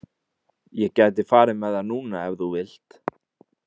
Ég gæti farið með það núna ef þú vilt.